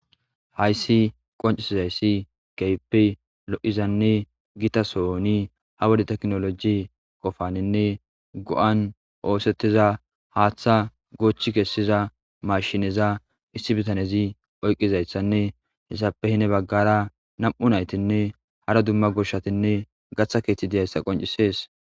Hayssi qoncisizayssi geypi lo'izanne gita sooni ha wode teknoloji qofaninne go'an oosettiza haaththa goochchi kessiza mashineza issi bitanezi oyqqizayssanne hessape hine baggara nam'u naytinne hara dumma goshatinne gaththa keeththi deyayssa qoncisees